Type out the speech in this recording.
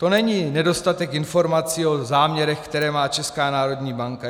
To není nedostatek informací o záměrech, které má Česká národní banka.